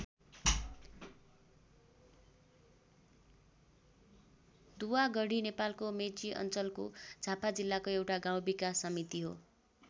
दुवागढी नेपालको मेची अञ्चलको झापा जिल्लाको एउटा गाउँ विकास समिति हो।